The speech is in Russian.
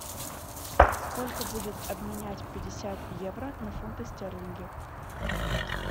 сколько будет обменять пятьдесят евро на фунты стерлинги